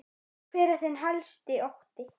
Hver er þinn helsti ótti?